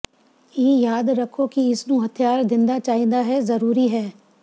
ਇਹ ਯਾਦ ਰੱਖੋ ਕਿ ਇਸ ਨੂੰ ਹਥਿਆਰ ਦਿੰਦਾ ਚਾਹੀਦਾ ਹੈ ਜ਼ਰੂਰੀ ਹੈ